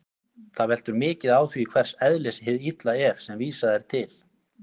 Það veltur því mikið á því hvers eðlis hið illa er sem vísað er til.